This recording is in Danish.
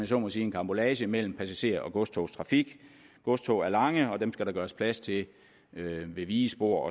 så må sige en karambolage mellem passager og godstogstrafik godstog er lange og dem skal der gøres plads til ved vigespor